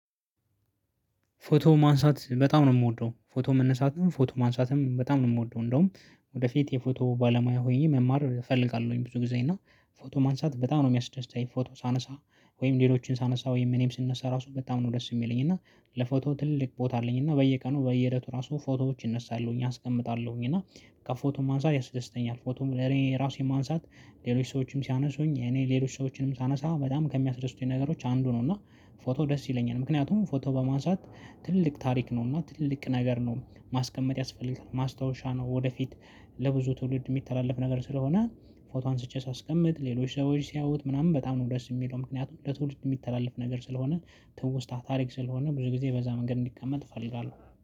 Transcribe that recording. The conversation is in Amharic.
ፎቶ ማንሳት በጣም ነው የምወደው። ፎቶ መነሳትም ፎቶ ማንሳትም በጣም ነው የምወደው። እንደውም ወደፊት የፎቶ ባለሙያ ሆኜ መማር እፈልጋለሁኝ ብዙ ጊዜ። እና ፎቶ ማንሳት በጣም ነው የሚያስደስትኝ። ፎቶ ሳነሳ ወይም ሌሎችን ሳነሳ ወይም እኔም ስነሳ ራሱ በጣም ነው ደስ የሚለኝ። እና ለፎቶ ትልቅ ቦታ አለኝ። እና በየቀኑ በየእለቱ ራሱ ፎቶዎች እነሳለሁኝ፤ አስቀምጣለሁኝ። እና በቃ ፎቶ ማንሳት ያስደስተኛል። ፎቶም ለኔ ራሴን ማንሳት ሌሎች ሰዎችም ሲያነሱኝ እኔ ሌሎች ሰዎችንም ሳነሳ በጣም ከሚያስደስቱኝ ነገሮች አንዱ ነው። እና ፎቶ ደስ ይለኛል። ምክንያቱም ፎቶ በማንሳት ትልቅ ታሪክ ነው። እና ትልቅ ነገር ነው። ማስቀመጥ ያስፈልጋል፤ ማስታወሻ ነው፤ ወደፊት ለብዙ ትውልድ የሚተላለፍ ነገር ስለሆነ ፎቶ አንስቼ ሳስቀምጥ ሌሎች ሰዎች ሲያዩት በጣም ነው ደስ የሚለው። ምክንያቱም ለትውልድ የሚተላለፍ ነገር ስለሆነ ትውስታ ስለሆነ ብዙ ጊዜ በዛ መንገድ እንዲቀመጥ እፈልጋለሁ።